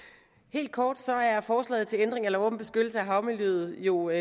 helt kort er forslaget til ændring af lov om beskyttelse af havmiljøet jo i